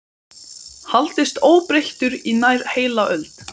haldist óbreyttur í nær heila öld.